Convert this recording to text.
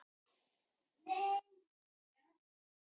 Eru samlögun og aðhæfing nokkuð annað en sundurgreining og alhæfing?